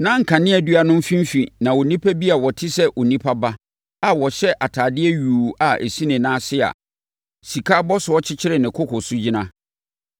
Na nkaneadua no mfimfini na onipa bi a ɔte sɛ Onipa Ba a ɔhyɛ atadeɛ yuu a ɛsi ne nan ase a sika abɔsoɔ kyekyere ne koko no gyina.